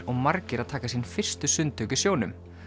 og margir að taka sín fyrstu sundtök í sjónum